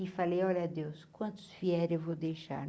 E falei, olha, Deus, quantos eu vou deixar?